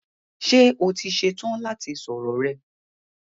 Ṣé o ti ṣe tán láti sọ̀rọ̀ rẹ?